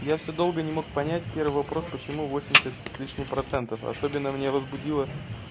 я всё долго не мог понять первый вопрос почему восемьдесят с лишним процентов особенно меня возбудило